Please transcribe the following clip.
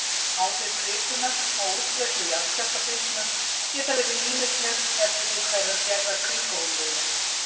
Áhrif kvikunnar á útbreiðslu jarðskjálftabylgna geta verið ýmisleg eftir því hverrar gerðar kvikuhólfið er.